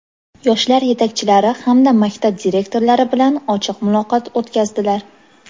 yoshlar yetakchilari hamda maktab direktorlari bilan ochiq muloqot o‘tkazdilar.